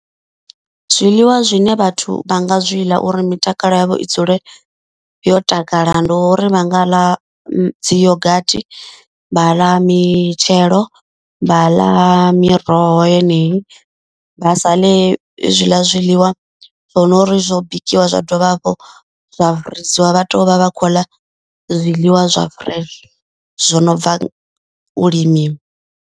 Zwiḽiwa zwine vhathu vha nga zwi ḽa uri mitakalo yavho i dzule yo takala. Ndi uri vha nga ḽa dzi yogathi, vha ḽa mitshelo, vha ḽa miroho yeneyi. Vha sa ḽe hezwiḽa zwiḽiwa zwono uri zwo bikiwa zwa dovha hafhu zwa rengisiwa vha to vha vha khou ḽa zwiḽiwa zwa fresh zwo no bva u limiwa.